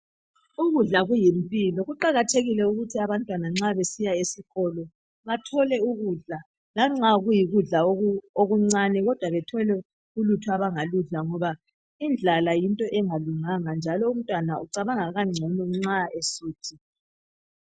Ukudla kuyimpilo kuqakathekile ukuthi abantwana nxa besiya esikolo bathole ukudla lanxa kuyikudla okuncane kodwa bethole ulutho abangaludla ngoba indlala yinto engalunganga njalo umntwana ucabanga kangcono nxa esuthi.